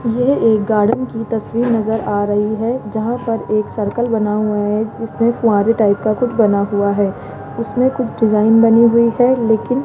यह एक गार्डन की तस्वीर नजर आ रही है जहां पर एक सर्कल बना हुआ है जिसमें फुआंरे टाइप का कुछ बना हुआ है उसमें कुछ डिजाइन बनी हुई है लेकिन --